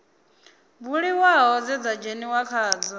buliwaho dze dza dzheniwa khadzo